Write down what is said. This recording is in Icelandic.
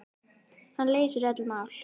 Hann leysir öll mál.